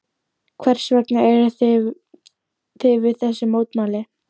Berghildur: Hvers vegna eruð þið við þessi mótmæli?